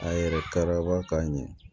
A yɛrɛ kɛra k'a ɲɛ